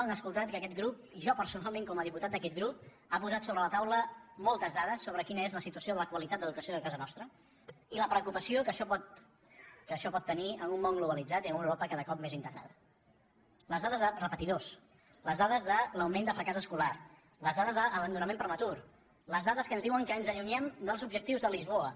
han escoltat que aquest grup i jo personalment com a diputat d’aquest grup ha posat sobre la taula moltes da·des sobre quina és la situació de la qualitat d’educació a casa nostra i la preocupació que això pot tenir en un món globalitzat i en una europa cada cop més integrada les dades de repetidors les dades de l’augment de fracàs es·colar les dades d’abandonament prematur les dades que ens diuen que ens allunyem dels objectius de lisboa